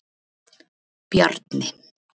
Bjarni